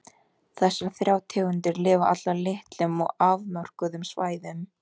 Þessar þrjár tegundir lifa allar á litlum og afmörkuðum svæðum.